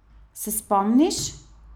Se spomniš?